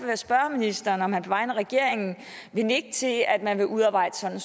jeg spørge ministeren om han på vegne af regeringen vil nikke til at at man vil udarbejde sådan